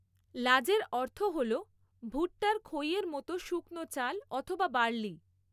লাজের অর্থ হলো ভুট্টার খইয়ের মতো শুকনো চাল অথবা বার্লি।